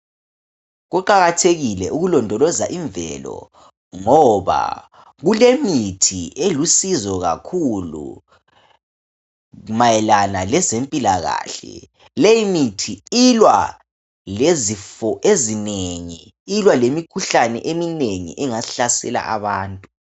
Kuqakathekile ukulondoloza imvelo ngoba kulemithi elusizo kakhulu mayelana ngezempilakahle leyi mithi ilwa lezifo ezinengi ilwa lemikhuhlane eminengi engahlasela abantu.